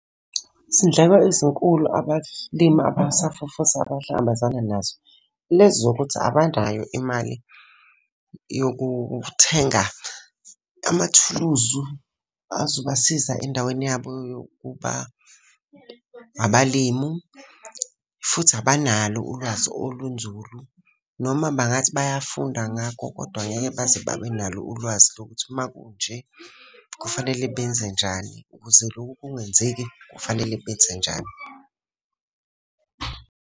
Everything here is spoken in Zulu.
Izindleko ezinkulu abalimi abasafufusa abahlangabezana nazo, lezi zokuthi abanayo imali yokuthenga amathuluzu azobasiza endaweni yabo yokuba abalimu. Futhi abanalo ulwazi olunzulu, noma bangathi bayafunda ngakho kodwa ngeke baze babe nalo ulwazi lokuthi uma kunje, kufanele benze njani. Ukuze lokhu kungenzeki, kufanele benze njani.